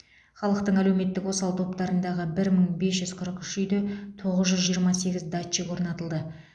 халықтың әлеуметтік осал топтарындағы бір мың бес жүз қырық үш үйде тоғыз жүз жиырма сегіз датчик орнатылды